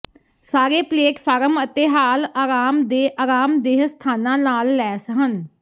ਸਾਰੇ ਪਲੇਟਫਾਰਮ ਅਤੇ ਹਾਲ ਆਰਾਮ ਦੇ ਆਰਾਮਦੇਹ ਸਥਾਨਾਂ ਨਾਲ ਲੈਸ ਹਨ